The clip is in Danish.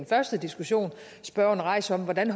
første diskussion spørgeren rejser om hvordan